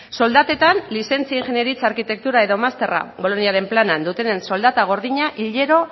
soldatetan lizentzia ingeniaritza arkitektura edo masterra boloniaren planean dutenen soldata gordina hilero